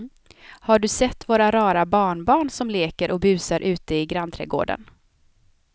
Har du sett våra rara barnbarn som leker och busar ute i grannträdgården!